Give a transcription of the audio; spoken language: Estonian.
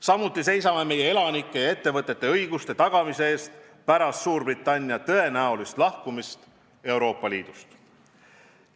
Samuti seisame meie elanike ja ettevõtete õiguste tagamise eest pärast Suurbritannia tõenäolist lahkumist Euroopa Liidust.